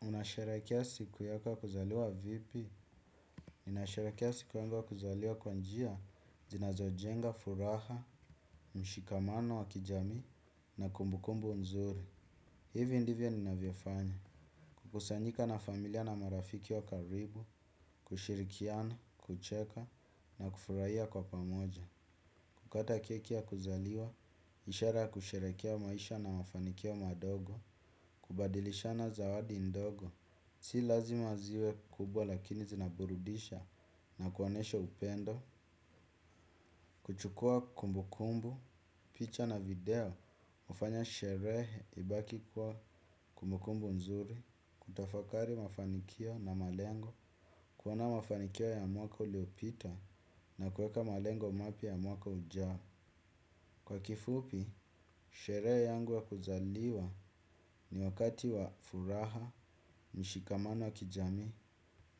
Unasherekea siku yako ya kuzaliwa vipi? Ninasharekea siku ya kuzaliwa kwa njia, zinazo jenga, furaha, mshikamano wa kijamii, na kumbukumbu mzuri. Hivi ndivyo ninavyofanya. Kukusanyika na familia na marafiki wa karibu, kushirikiana, kucheka, na kufurahia kwa pamoja. Kukata kekia ya kuzaliwa, ishara ya kusharekea maisha na mafanikio madogo, kubadilishana zawadi ndogo. Si lazima ziwe kubwa lakini zinaburudisha na kuonyesha upendo, kuchukua kumbu kumbu, picha na video, hufanya sherehe ibaki kuwa kumbu kumbu nzuri, kutafakari mafanikio na malengo, kuona mafanikio ya mwaka uliopita na kueka malengo mapya ya mwaka ujao. Kwa kifupi, sherehe yangu ya kuzaliwa ni wakati wa furaha, mshikamano wa kijamii